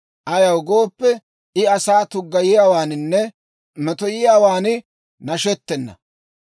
Ayaw gooppe, I asaa tuggayiyaawaaninne metoyiyaawan nashettena.